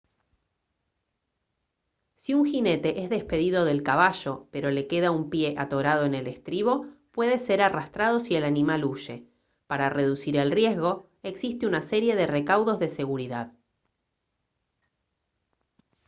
si un jinete es despedido del caballo pero le queda un pie atorado en el estribo puede ser arrastrado si el animal huye para reducir el riesgo existe una serie de recaudos de seguridad